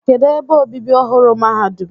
Kedụ ebe obibi ọhụrụ mahadum?